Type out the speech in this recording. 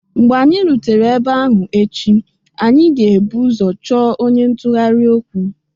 Mgbe anyị rutere ebe ahụ echi, anyị ga-ebu ụzọ chọọ onye ntụgharị okwu